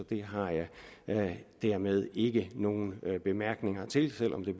det har jeg dermed ikke nogen bemærkninger til selv om det